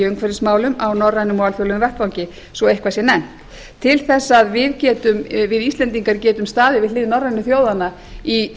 umhverfismálum á norrænum og alþjóðlegum vettvangi svo eitthvað sé nefnt til þess að við íslendingar getum staðið við hlið norrænu þjóðanna í